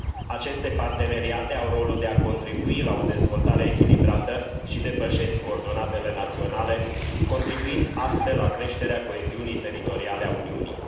Aceste parteneriate au rolul de a contribui la o dezvoltare echilibrată și depășesc coordonatele naționale, contribuind astfel la creșterea coeziunii teritoriale a Uniunii.